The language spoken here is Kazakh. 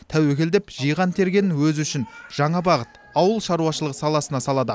тәуекел деп жиған тергенін өзі үшін жаңа бағыт ауыл шаруашылығы саласына салады